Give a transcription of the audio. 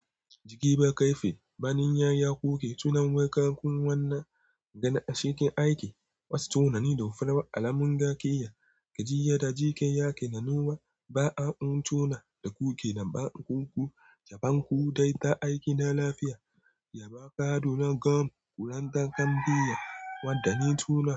Jiki babu kairfi, baninyar ya kuke tunan wakan wannan gane a cikin aiki. Wasu tunani da farawar alamun gakiya, gajiyya da jikin yake nanuwa. Ba'a mun tuna da kuke daban kuku, ku dai ta aiki na lafiya. Yaba kadu na gam kurantar gambiya wanda na tuna.